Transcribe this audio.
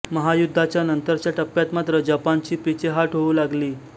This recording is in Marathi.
महायुद्धाच्या नंतरच्या टप्प्यात मात्र जपानाची पिछेहाट होऊ लागली